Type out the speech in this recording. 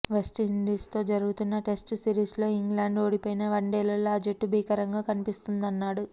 వెస్టిండీస్తో జరుగుతున్న టెస్ట్ సిరీస్లో ఇంగ్లాండ్ ఓడిపోయినా వన్డేల్లో ఆ జట్టు భీకరంగా కనిపిస్తుందన్నాడు